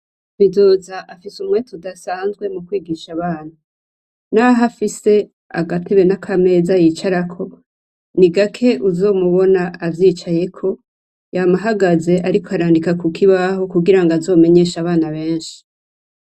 Bizoza afise umwete udasanzwe mu kwigisha abana, naho afise agatibe n'akameza yicarako ni igake uzomubona avyicayeko yamahagaze, ariko arandika ku kibaho kugira ngo azomenyesha abana benshi.